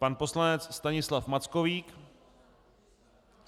Pan poslanec Stanislav Mackovík.